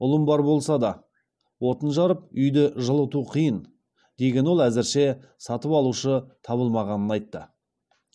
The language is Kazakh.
ұлым бар болса да отын жарып үйді жылыту қиын деген ол әзірше сатып алушы табылмағанын айтты